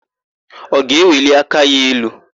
Ọ ga-eweli aka ya elu?